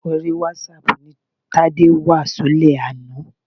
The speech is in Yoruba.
Orí wásáaàpù ni Tádé wà ṣúlẹ̀ àná.